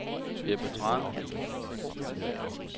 Ebbe Thrane